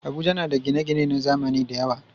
Abuja na da gine-gine na zamani da yawa.